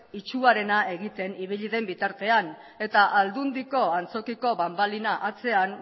itsuarena egiten ibili den bitartean eta aldundiko antzokiko banbalina atzean